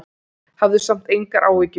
Hafðu samt engar áhyggjur.